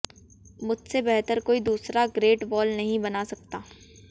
मुझसे बेहतर कोई दूसरा ग्रेट वॉल नहीं बना सकता